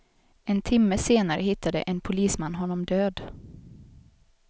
En timme senare hittade en polisman honom död.